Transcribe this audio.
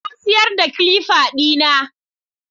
Na siyar da kilifa ɗina